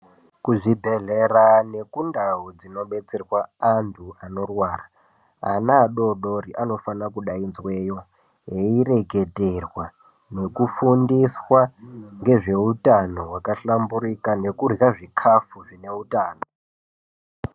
Kuzvibhehlera nekundau dzinobetserwa antu anorwra ana adodori anofana kudainzweyo eireketerwa nekufundiswa ngezveutano hwakahlamburika nekurya zvikafu zvine utano